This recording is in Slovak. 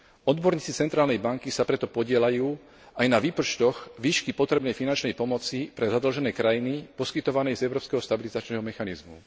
Odborníci centrálnej banky sa preto podieľajú aj na výpočtoch výšky potrebnej finančnej pomoci pre zadlžené krajiny poskytované z európskeho stabilizačného mechanizmu.